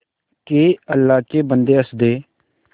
के अल्लाह के बन्दे हंस दे